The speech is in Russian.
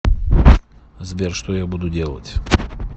сбер что я буду делать